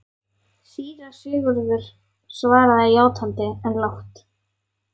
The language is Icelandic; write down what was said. Síra Sigurður svaraði játandi, en lágt.